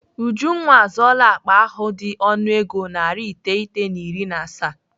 Ujunwa azụọla akpa ahụ dị ọnụego narị iteghete na iri na asaa.